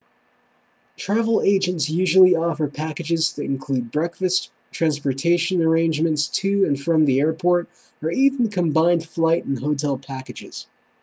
travel agents usually offer packages that include breakfast transportation arrangements to/from the airport or even combined flight and hotel packages